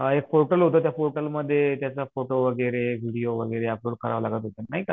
आ एक पोर्टल होता त्या पोर्टल मध्ये त्याचा फोटो वगैरे, व्हिडीओ वगैरे लागायचा नाही का?